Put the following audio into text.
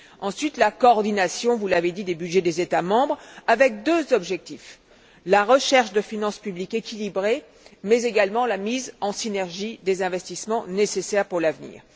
Ensuite, la coordination, vous l'avez dit, des budgets des États membres avec deux objectifs la recherche de finances publiques équilibrées, mais également la mise en synergie des investissements nécessaires pour l'avenir.